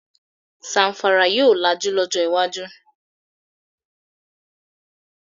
Zamfara yóò lajú lọjọ iwájú